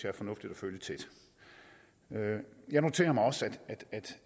er fornuftigt at følge tæt jeg noterer mig også